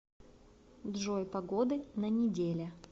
джой погоды на неделя